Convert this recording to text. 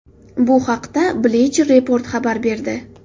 Bu haqda Bleacher Report xabar berdi .